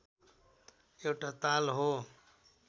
एउटा ताल हो